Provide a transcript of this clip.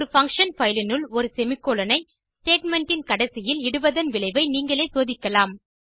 ஒரு function file இனுள் ஒரு செமிகோலன் 160 ஐ ஸ்டேட்மெண்ட் இன் கடைசியில் இடுவதன் விளைவை நீங்களே சோதிக்கலாம்